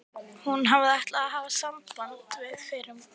Hún hafði ekki ætlað að hafa samband við fyrrum vinkonur